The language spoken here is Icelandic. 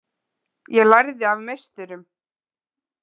Ég lærði af meisturum.